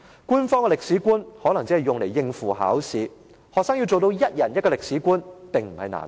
官方的歷史觀可能只是用來應付考試，學生要做到一人一個歷史觀並非難事。